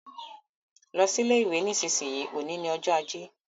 Lọ sí ilé ìwé nísinsìnyí, òní ni ọjọ́ ajé